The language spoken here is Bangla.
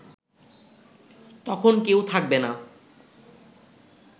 তখন কেউ থাকবে না